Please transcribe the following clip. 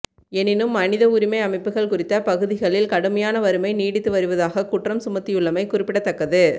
எனினும் மனித உரிமை அமைப்புக்கள் குறித்த பகுதிகளில் கடுமையான வறுமை நீடித்து வருவதாகக் குற்றம் சுமத்தியுள்ளமை குறிப்பிடத்தக்கது